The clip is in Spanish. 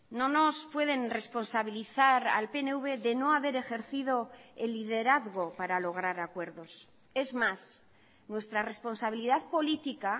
no nos pueden responsabilizar al pnv de no haber ejercido el liderazgo para lograr acuerdos es más nuestra responsabilidad política